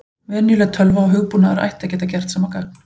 Venjuleg tölva og hugbúnaður ætti að geta gert sama gagn.